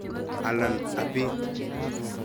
Alan ibit